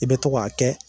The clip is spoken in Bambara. I bɛ to k'a kɛ